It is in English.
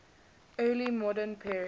early modern period